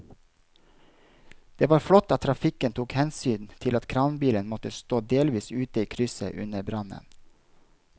Det var flott at trafikken tok hensyn til at kranbilen måtte stå delvis ute i krysset under brannen.